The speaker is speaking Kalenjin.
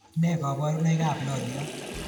Ne kaborunoikab loliot